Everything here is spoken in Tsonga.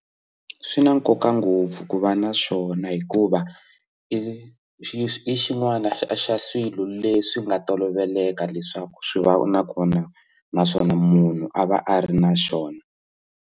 Swi na nkoka ngopfu ku va na swona hikuva i xin'wana xa swilo leswi nga toloveleka leswaku swi va na kona naswona munhu a va a ri na xona.